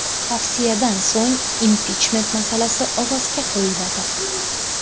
Tavsiyadan so‘ng impichment masalasi ovozga qo‘yiladi.